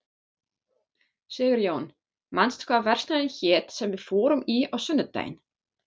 Sigurjón, manstu hvað verslunin hét sem við fórum í á sunnudaginn?